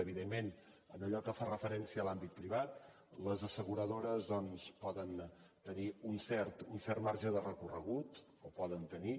evidentment en allò que fa referència a l’àmbit privat les assegura·dores doncs poden tenir un cert marge de recorregut el poden tenir